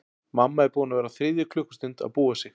Mamma er búin að vera á þriðju klukkustund að búa sig.